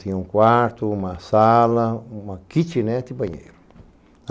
Tinha um quarto, uma sala, uma kitnet e banheiro.